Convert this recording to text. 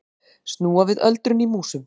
Snúa við öldrun í músum